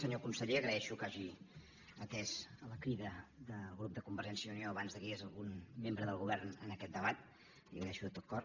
senyor conseller agraeixo que hagi atès la crida del grup de convergència i unió abans que hi hagués algun membre del govern en aquest debat li ho agraeixo de tot cor